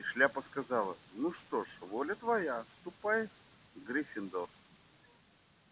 и шляпа сказала ну что ж воля твоя ступай в гриффиндор